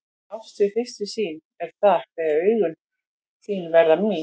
Ást við fyrstu sýn er það þegar augun þín verða mín.